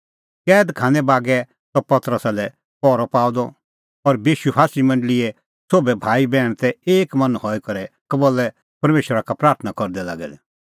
कैद खानै बागै त पतरसा लै पहरअ पाअ द और विश्वासी मंडल़ीए सोभै भाईबैहण तै एक मन हई करै कबल्लै परमेशरा का प्राथणां करदै लागै दै